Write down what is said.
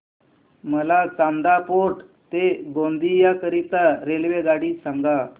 मला चांदा फोर्ट ते गोंदिया करीता रेल्वेगाडी सांगा